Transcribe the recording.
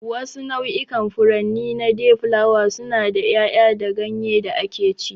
Wasu nau'ikan furanni na dayflower suna da yaya da ganye da akeci.